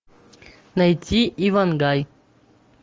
найти ивангай